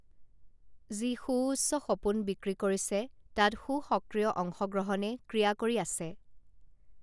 যি সুউচ্চ সপোন বিক্ৰী কৰিছে তাত সুসক্ৰিয় অংশগ্ৰহণে ক্ৰিয়া কৰি আছে